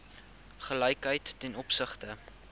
gelykheid ten opsigte